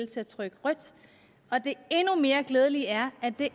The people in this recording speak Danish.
til at trykke rødt og det endnu mere glædelige er at det